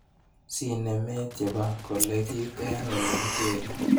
Sinemet chebo kolekit eng olekikere.